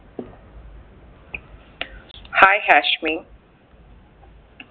hai Hashmi